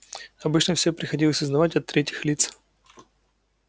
обычно все приходилось узнавать от третьих лиц